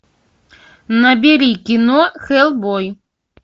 набери кино хеллбой